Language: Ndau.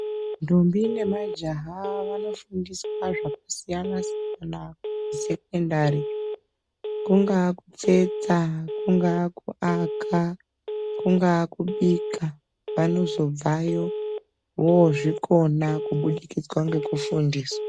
Ndombi nemajaha vanofundiswa zvakasiyanasiyana kusekondari kungaa kupfeka, kungaa kubika ,kungaa kuaka vanozobvayo vozvikona kubudikidza ngekufundiswa.